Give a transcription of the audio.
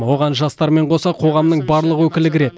оған жастармен қоса қоғамның барлық өкілі кірет